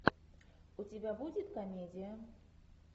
у тебя будет комедия